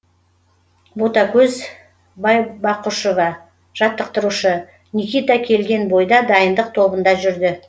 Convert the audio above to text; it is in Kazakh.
ботакөз байбақұшева жаттықтырушы никита келген бойда дайындық тобында жүрді